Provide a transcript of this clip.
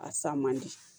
A sa man di